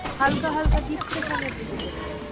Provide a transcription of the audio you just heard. হালকা হালকা depression এর দিকে চলে যাচ্ছে।